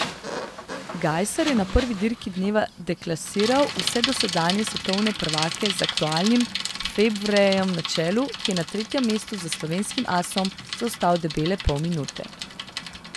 Gajser je na prvi dirki dneva deklasiral vse dosedanje svetovne prvake z aktualnim Febvrejem na čelu, ki je na tretjem mestu za slovenskim asom zaostal debele pol minute.